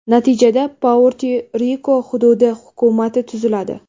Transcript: Natijada, Puerto-Riko hududi hukumati tuziladi.